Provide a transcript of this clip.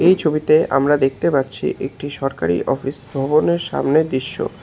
এই ছবিতে আমরা দেখতে পাচ্ছি একটি সরকারি অফিস ভবনের সামনের দৃশ্য।